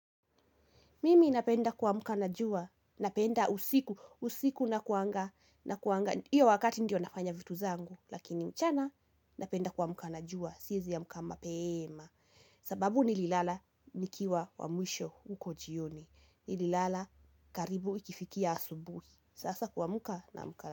Mimi napenda kuamka na jua, napenda usiku, usiku nakuanga, iyo wakati ndio nafanya vitu zangu, lakini mchana napenda kuamka na jua, siwezi amka mapeema. Sababu nililala nikiwa wa mwisho huko jioni, nililala karibu ikifikia asubuhi. Sasa kuamka, naamka.